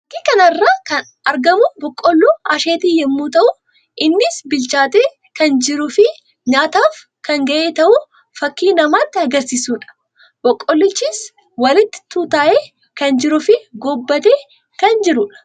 Fakkii kana irratti kan argamu boqqolloo asheetii yammuu ta'u; innis bilchaatee kan jiruu fi nyaataaf kan ga'e ta'uu fakkii namatti agarsiisuu dha. Boqqollichis walitti tuuta'ee kan jiruu fi gobbatee kan jiruu dha.